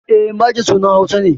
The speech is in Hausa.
E, Maje sunan Hausa ne.